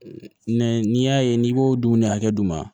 n'i y'a ye n'i b'o dumuni hakɛ d'u ma